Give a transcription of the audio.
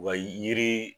Wa yiri